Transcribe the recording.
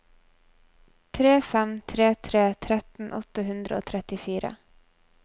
tre fem tre tre tretten åtte hundre og trettifire